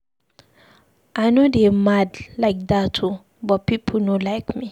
I no dey mad like dat oo but people no like me